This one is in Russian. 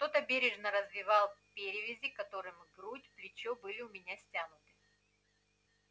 кто-то бережно развивал перевязи которыми грудь плечо были у меня стянуты